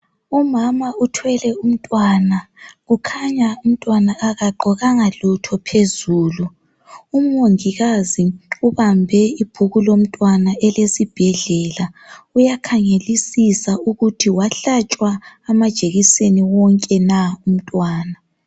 Umama uthwele umntwana kukhanya umntwana akagqokanga lutho phezulu. Umongikazi ubambe ibhuku lomntwana elesibhedlela, uyakhangelisa ukuthi wahlatshwa amajekiseni wonke na umntwana.